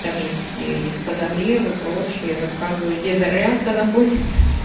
там если есть подогревы прочее рассказываю где зарядка находится